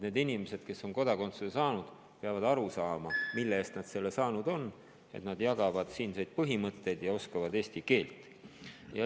Need inimesed, kes on kodakondsuse saanud, peavad aru saama, mille eest nad selle saanud on: nad jagavad siinseid põhimõtteid ja oskavad eesti keelt.